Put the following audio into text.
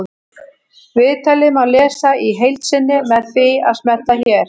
Viðtalið má lesa í heild sinni með því að smella hér